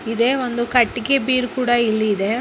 ಇದೆ ಒಂದು ಕಟ್ಟಿಗೆ ಬೀರು ಕೂಡ ಇಲ್ಲಿ ಇದೆ.